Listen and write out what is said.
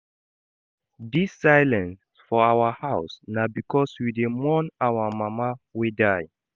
Dis silence for our house na because we dey mourn our mama wey die.